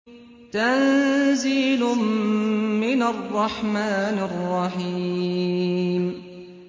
تَنزِيلٌ مِّنَ الرَّحْمَٰنِ الرَّحِيمِ